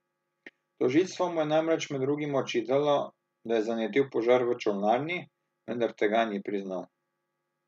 Tožilstvo mu je namreč med drugim očitalo, da je zanetil požar v čolnarni, vendar tega ni priznal.